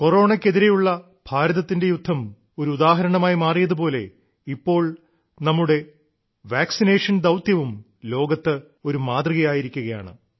കൊറോണയ്ക്ക് എതിരെയുള്ള ഭാരതത്തിന്റെ യുദ്ധം ഒരു ഉദാഹരണമായി മാറിയതു പോലെ ഇപ്പോൾ നമ്മുടെ വാക്സിനേഷൻ പ്രോഗ്രാമും ലോകത്ത് ഒരു മാതൃകയായിരിക്കുകയാണ്